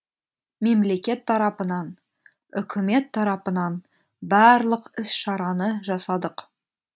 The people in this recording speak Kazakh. мемлекет тарапынан үкімет тарапынан барлық іс шараны жасадық